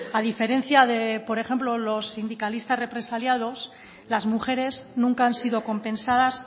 a diferencia de por ejemplo los sindicalistas represaliados las mujeres nunca han sido compensadas